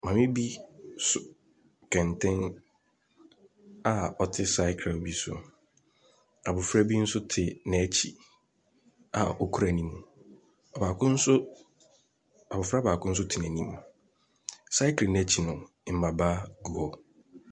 Maame bi so kɛntɛn a ɔte sakre bi so. Abɔfra bi nso te n'akyi a ɔkura ne mu. Ɔbaako nso abɔfra baako nso te n'anim. Sakre no akyi no, mmabaa gu hɔ.